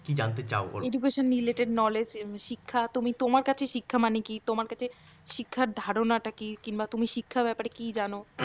কী জানতে চাও বল? education related knowledge শিক্ষা মানে তোমার কাছে শিক্ষা মানে কি তোমার কাছে শিক্ষার ধারনাটা কি কিংবা তুমি শিক্ষার ব্যাপারে কি জান